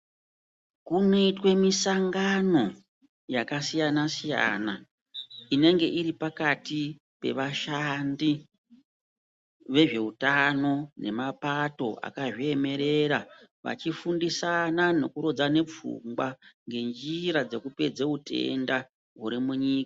Munoitwe misangano yakasiyana-siyana inenge iri pakati pevashandi vezveutano nemapato akazviemerera vachifundisana nekurodzane pfungwa ngenjira dzekupedze utenda huri munyika.